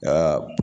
Aa